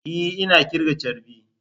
E! Ina kirga charbi.